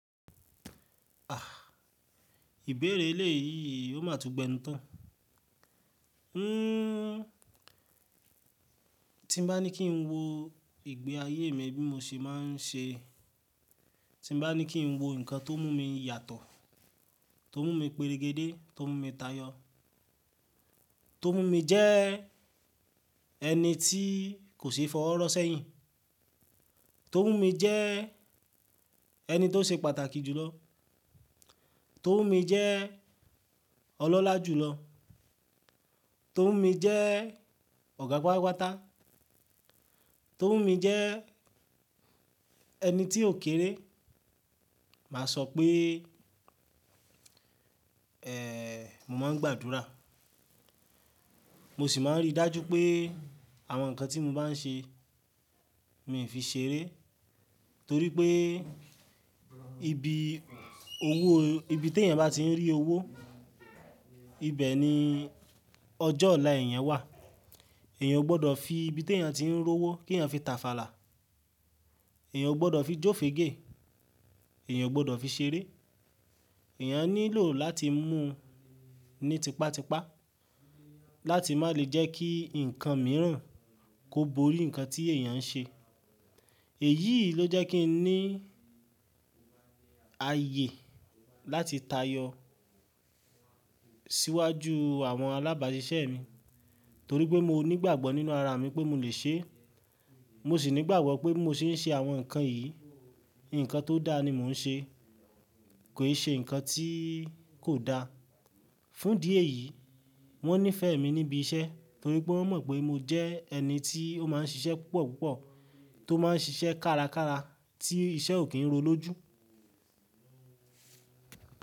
Àh! Ìbéèrè eléyìí ò má tún gbẹńu tán. Tí n bá ní kí n wo ìgbé ayé mi bí mo se máa n ṣe, tí n bá ní kí n wo ǹkan tó mú mi yàtọ̀, tó mú mi peregede, tó mú mi tayọ, tó mú mi jẹ́ ẹni tí kò ṣeé fọwọ́ rọ́ sẹ́yìn, tó mú mi jẹ́ ẹni tó ṣe pàtàkì jùlọ, tó mú mi jẹ́ ọlọ́lá jùlọ, tó mú mi jẹ́ ọ̀gá pátàpáta, tó mú mi jẹ́ ẹni tí ó kéré, mà a sọ pé mo máa n gbàdúrà. Mo sì máa n rí i dájú pé àwọn ǹkan tí mo bá n ṣe, mi fi ṣeré torí pé ibi owó ibi tí ènìyàn bá ti ń rí owó, ibẹ̀ ni ọjọ́ ọ̀la ènìyàn wà. Ènìyàn ò gbọdọ̀ fi ibi tí ènìyàn ti ń rí owó kí ènìyàn fi tàfàlà, ènìyàn ò gbọdọ̀ fi jófege, ènìyàn ò gbọdọ̀ fi ṣeré. Ènìyàn nílò láti mú un ní tipátipá láti má lè jẹ́ kí ǹkan mìíràn kó bo orí ǹkan tí ènìyàn ń ṣe. Èyí ló jẹ́ kí n ní ayé láti tayọ síwájú àwọn alábàásisẹ́ mi torí pé mo nígbàgbọ́ nínú ara mi pé mo lè ṣe é. Mo sì nígbàgbọ́ pé bimo ṣé ń ṣe àwọn ǹkan yìí, ǹkan tó da ni mo ń ṣe, kò ì ṣe ǹkan tí kò da. Fún idi èyí, wọ́n nífẹ̀ẹ́ mi níbi iṣẹ́ torí pé wọ́n mọ̀ pé mo jẹ́ ẹni tí ó máa ń ṣiṣẹ́ púpọ̀púpọ̀, tó máa ń ṣiṣẹ́ kárakára tí iṣẹ́ ò kí ń ro lójú.